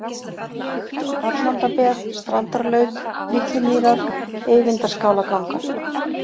Hallandabeð, Strandarlaut, Litlumýrar, Eyvindarskálargangar